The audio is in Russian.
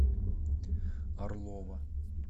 орлова